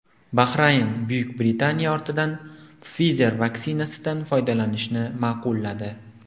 Bahrayn Buyuk Britaniya ortidan Pfizer vaksinasidan foydalanishni ma’qulladi.